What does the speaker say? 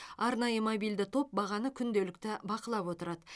арнайы мобильді топ бағаны күнделікті бақылап отырады